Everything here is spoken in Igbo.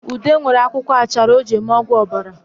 Ude nwere akwụkwọ achara o ji eme ọgwụ obara